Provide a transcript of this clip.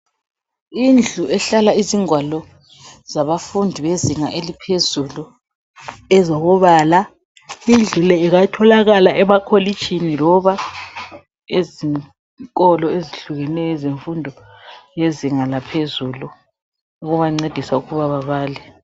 Indlu ehlala izingwalo zabafundi bezinga eliphezulu, ezokubala, indlu le ingatholakala emakolitshini, loba ezikolo ezihlukeneyo ezemfundo yezinga laphezulu ukubancedisa ukuba babale.